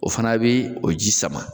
O fana bɛ o ji sama